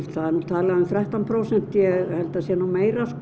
það er nú talað um þrettán prósent ég held að það sé nú meira